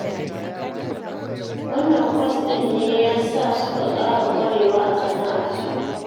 Wannan kwas ɗin ne ya sa suka ƙara ƙwarewa a sana'ar tasu